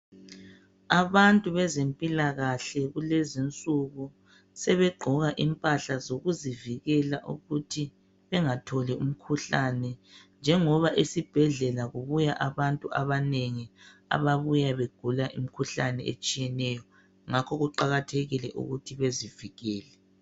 Abantu bezempilakahle kulezinsuku sebegqoka impahla zokuzivikela ukuthi bengatholi umkhuhlane njengoba esibhedlela kubuya abantu abanengi ababuya begula imikhuhlane etshiyeneyo. Ngakho kuqakathekile ukuthi bezivikele.